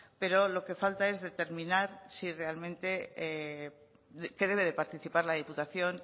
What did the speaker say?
pero lo que falta es determinar si realmente que debe de participar la diputación